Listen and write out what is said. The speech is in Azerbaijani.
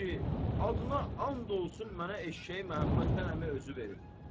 Ay kişi, adına and olsun mənə eşşəyi Məhəmməd Həsən əmi özü verib.